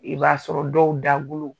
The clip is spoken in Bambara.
I b'a sɔrɔ dɔw dagolo